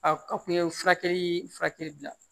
A kun ye furakɛli bila